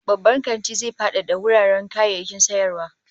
Babban kantin zai fadada wuraren kayayyakin sayarwa